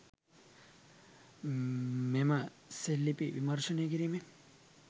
මෙම සෙල් ලිපි විමර්ශනය කිරීමෙන්